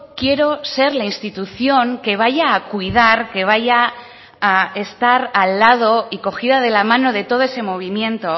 quiero ser la institución que vaya a cuidar que vaya a estar al lado y cogida de la mano de todo ese movimiento